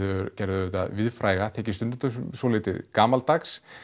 gerðu auðvitað víðfræga þykir stundum svolítið gamaldags